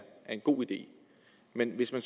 en god idé men hvis man